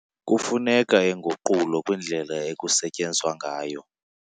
Kufuneka inguqulo kwindlela ekusetyenzwa ngayo.